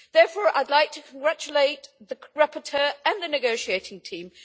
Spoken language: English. Therefore, I would like to congratulate the rapporteur and the negotiating team.